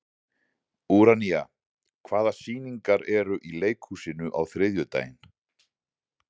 Úranía, hvaða sýningar eru í leikhúsinu á þriðjudaginn?